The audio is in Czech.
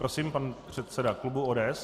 Prosím pan předseda klubu ODS.